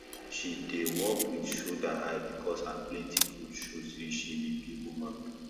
she dey walk with shoulder high because her plenty goat show say she be big woman